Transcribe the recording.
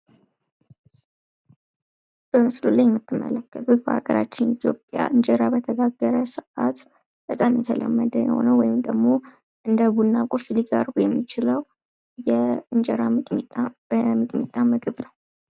በምስሉ ላይ የምትመለከቱት በሀገራችን ኢትዮጵያ እንጀራ በተጋገረ ሰአት በጣም የተለመደ የሆነዉ ወይም ደሞ እንደ ቡና ቁርስ ሊቀርብ የሚችለው ፤ የእንጀራ በሚጥሚጣ ምግብ ነው።